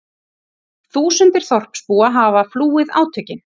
Þúsundir þorpsbúa hafa flúið átökin